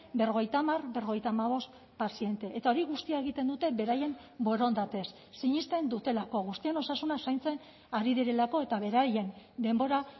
berrogeita hamar berrogeita hamabost paziente eta hori guztia egiten dute beraien borondatez sinesten dutelako guztien osasuna zaintzen ari direlako eta beraien denbora